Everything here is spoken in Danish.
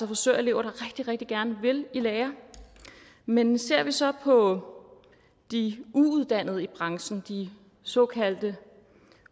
frisørelever der rigtig rigtig gerne vil i lære men ser vi så på de uuddannede i branchen de såkaldte